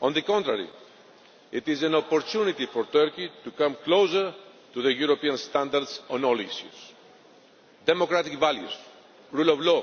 On the contrary, it is an opportunity for Turkey to come closer to European standards on all issues democratic values, rule of law,